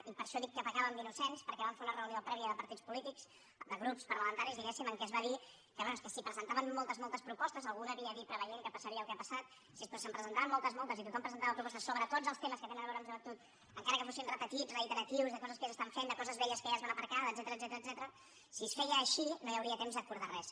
i per això dic que pecàvem d’innocents perquè vam fer una reunió prèvia de partits polítics de grups parlamentaris diguéssim en què es va dir que bé és que si presentaven moltes moltes propostes algú ho devia dir preveient que passaria el que ha passat si se’n presentaven moltes moltes i tothom presentava propostes sobre tots els temes que tenen a veure amb joventut encara que fossin repetits reiteratius de coses que ja s’estan fent de coses velles que ja es van aparcar etcètera si es feia així no hi hauria temps d’acordar res